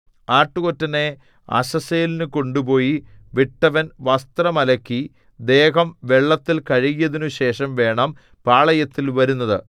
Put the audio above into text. ആട്ടുകൊറ്റനെ അസസ്സേലിന് കൊണ്ടുപോയി വിട്ടവൻ വസ്ത്രം അലക്കി ദേഹം വെള്ളത്തിൽ കഴുകിയതിനുശേഷം വേണം പാളയത്തിൽ വരുന്നത്